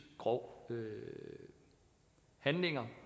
grove handlinger